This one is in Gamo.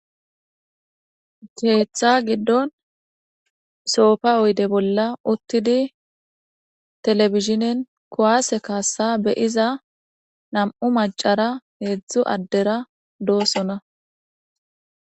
Keetha giddon soofa oyde bolla uttidi telefizhinen kowaase kaassa beyiza nam'u macara heedzdzu addera doosona